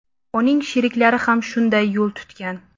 Uning sheriklari ham shunday yo‘l tutgan.